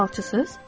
Siz falçısız?